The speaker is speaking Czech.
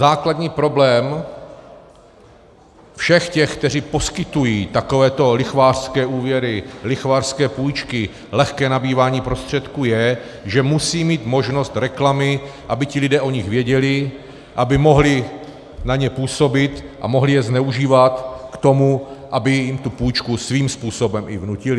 Základní problém všech těch, kteří poskytují takovéto lichvářské úvěry, lichvářské půjčky, lehké nabývání prostředků, je, že musí mít možnost reklamy, aby ti lidé o nich věděli, aby mohli na ně působit a mohli je zneužívat k tomu, aby jim tu půjčku svým způsobem i vnutili.